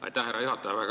Aitäh, härra juhataja!